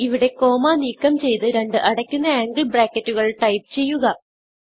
ഇവിടെ കോമ നീക്കംചെയ്ത് രണ്ട് അടയ്ക്കുന്ന ആംഗിൾ ബ്രാക്കറ്റുകൾ ടൈപ്പ് ചെയ്യുക